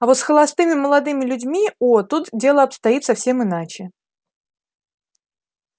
а вот с холостыми молодыми людьми о тут дело обстоит совсем иначе